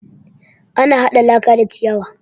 Ana haɗa laka da ciyawa